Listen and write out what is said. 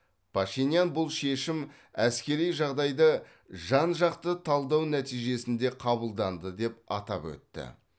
пашинян бұл шешім әскери жағдайды жан жақты талдау нәтижесінде қабылданды деп атап өтті